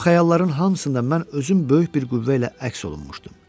Bu xəyalların hamısında mən özüm böyük bir qüvvə ilə əks olunmuşdum.